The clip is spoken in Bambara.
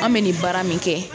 An mɛ nin baara min kɛ.